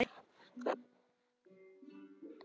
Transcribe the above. Ertu að íhuga það?